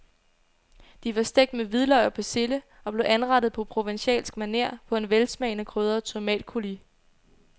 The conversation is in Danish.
De var stegt med hvidløg og persille og blev anrettet på provencalsk maner på en velsmagende krydret tomatcoulis.